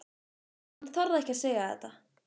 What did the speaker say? En hann þorði ekki að segja þetta.